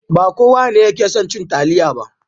Ba kowa ne yake son cin taliya ba.